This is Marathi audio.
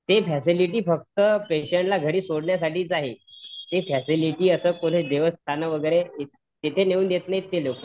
ते फॅसिलिटी फक्त पेशंट ला घरी सोडण्यासाठी आहे ते फॅसिलिटी देवस्थान इथे नेऊ देत नाहीत ते लोक